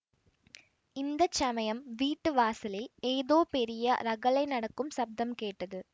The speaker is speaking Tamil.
இந்த சமயம் வீட்டு வாசலில் ஏதோ பெரிய ரகளை நடக்கும் சப்தம் கேட்டது